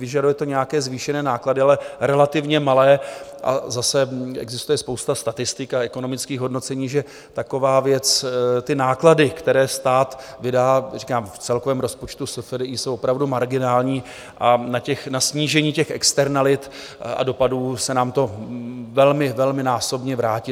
Vyžaduje to nějaké zvýšené náklady, ale relativně malé, a zase existuje spousta statistik a ekonomických hodnocení, že taková věc, ty náklady, které stát vydá, říkám, v celkovém rozpočtu SFDI jsou opravdu marginální a na snížení těch externalit a dopadů se nám to velmi, velmi násobně vrátí.